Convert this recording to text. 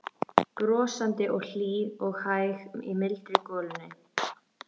Brosandi og hlý og hæg í mildri golunni.